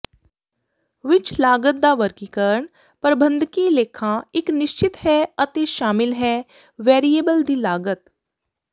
ਵਿਚ ਲਾਗਤ ਦਾ ਵਰਗੀਕਰਨ ਪ੍ਰਬੰਧਕੀ ਲੇਖਾ ਇੱਕ ਨਿਸ਼ਚਿਤ ਹੈ ਅਤੇ ਸ਼ਾਮਿਲ ਹੈ ਵੇਰੀਏਬਲ ਦੀ ਲਾਗਤ